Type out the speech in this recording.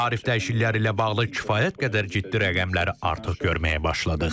Tarif dəyişiklikləri ilə bağlı kifayət qədər ciddi rəqəmləri artıq görməyə başladıq.